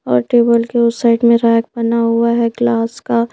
और टेबल के उस साइड में रैक बना हुआ है ग्लास का--